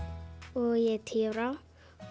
og ég er tíu ára